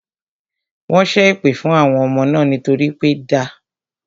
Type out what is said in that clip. Wọ́n ṣé èpè fún àwọn ọmọ náà nítorí pé da